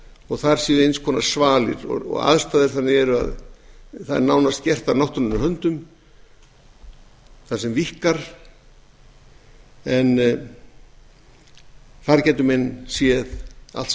og þar séu eins konar svalir og aðstæður þannig að það er nánast gert af náttúrunnar höndum það sem víkkar en þar geta menn séð allt sem